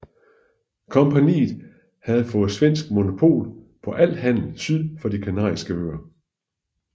Kompagniet havde fået svensk monopol på al handel syd for De Kanariske Øer